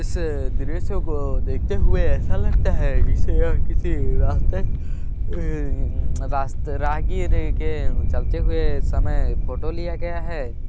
इसे दृश्य को देखते हुए ऐसा लगता है जैसे यह किसी रस्ता हम्म रास्ते राहगीर के चलते हुवे समय फोटो लिया गया है।